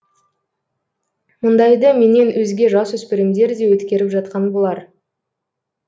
мұндайды менен өзге жасөспірімдер де өткеріп жатқан болар